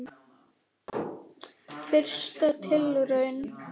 Fyrsta tilraun